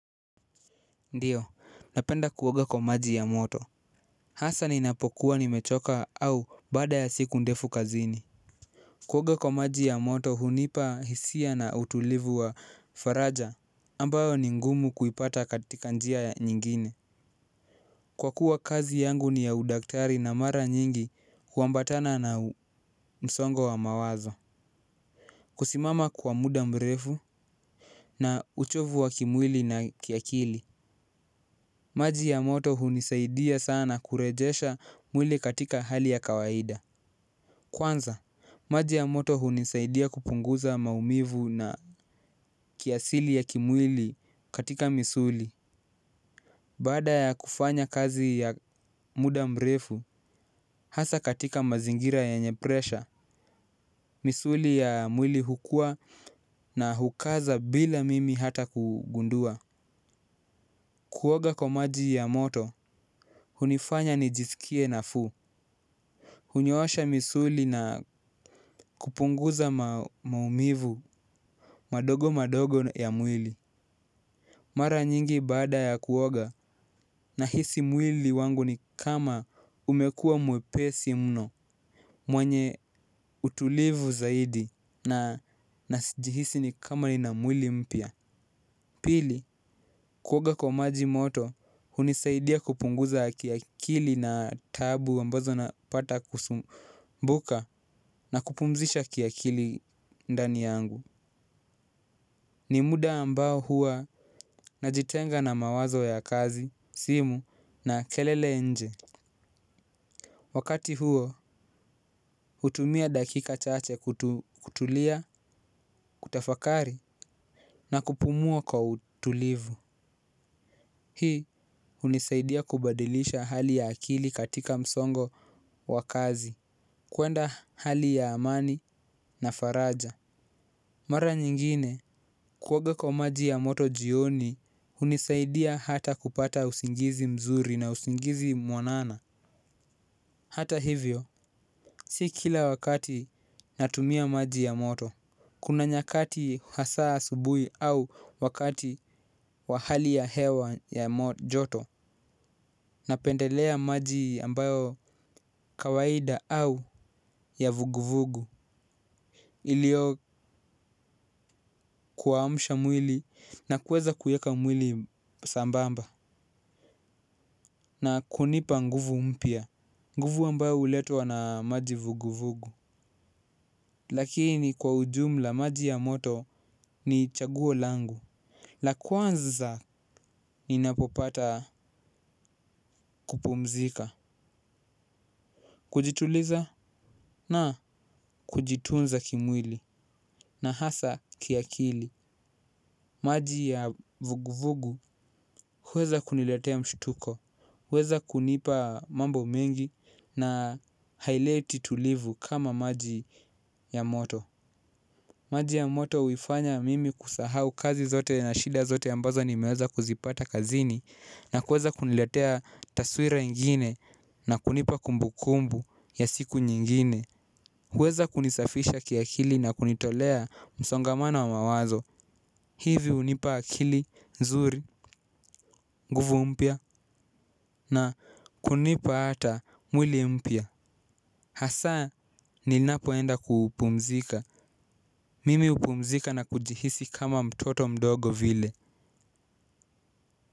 Ndiyo, napenda kuoga kwa maji ya moto. Hasa ninapokuwa nimechoka au baada ya siku ndefu kazini. Kuoga kwa maji ya moto hunipa hisia na utulivu wa faraja ambayo ni ngumu kuipata katika njia ya nyingine. Kwa kuwa kazi yangu ni ya udaktari na mara nyingi huambatana na msongo wa mawazo. Kusimama kwa muda mrefu na uchovu wa kimwili na kiakili maji ya moto hunisaidia sana na kurejesha mwili katika hali ya kawaida. Kwanza, maji ya moto hunisaidia kupunguza maumivu na kiasili ya kimwili katika misuli. Baada ya kufanya kazi ya muda mrefu, hasa katika mazingira yenye presha misuli ya mwili hukua na hukaza bila mimi hata kugundua. Kuoga kwa maji ya moto, hunifanya nijisikie nafuu. Hunyoosha misuli na kupunguza maumivu madogo madogo ya mwili. Mara nyingi baada ya kuoga na hisi mwili wangu ni kama umekua mwepesi mno. Mwenye utulivu zaidi najihisi ni kama ni na mwili mpya. Pili, kuoga kwa maji moto, hunisaidia kupunguza kiakili na taabu ambazo napata kusumbuka na kupumzisha kiakili ndani yangu. Ni muda ambao huwa najitenga na mawazo ya kazi, simu na kelele ya nje wakati huo hutumia dakika chache kutulia kutafakari na kupumua kwa utulivu. Hii hunisaidia kubadilisha hali ya akili katika msongo wa kazi. Kuenda hali ya amani na faraja. Mara nyingine kuoga kwa maji ya moto jioni hunisaidia hata kupata usingizi mzuri na usingizi mwanana. Hata hivyo si kila wakati natumia maji ya moto kuna nyakati hasa asubuhi au wakati wa hali ya hewa ya joto. Na pendelea maji ambayo kawaida au ya vuguvugu ilio kuamsha mwili na kueza kueka mwili sambamba na kunipa nguvu mpya, nguvu ambayo uletwa na maji vuguvugu. Lakini kwa ujumla maji ya moto ni chaguo langu. La kwanza ni napopata kupumzika. Kujituliza na kujitunza kimwili. Na hasa kiakili, maji ya vuguvugu huweza kuniletea mshutko. Huweza kunipa mambo mengi na haileti tulivu kama maji ya moto. Maji ya moto uifanya mimi kusahau kazi zote na shida zote ambazo nimeweza kuzipata kazini. Na kuweza kuniletea taswira ingine na kunipa kumbu kumbu ya siku nyingine. Huweza kunisafisha kiakili na kunitolea msongamano wa mawazo. Hivi unipa akili, zuri, nguvu mpya na kunipa ata mwili mpya. Hasa ninapoenda kuupumzika mimi upumzika na kujihisi kama mtoto mdogo vile.